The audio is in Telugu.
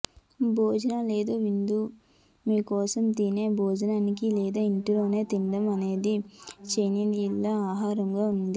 భోజన లేదా విందు కోసం మీరు తినే భోజనానికి లేదా ఇంటిలోనే తినడం అనేది చైనీయుల ఆహారంగా ఉంది